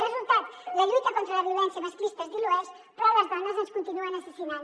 resultat la lluita contra la violència masclista es dilueix però a les dones ens continuen assassinant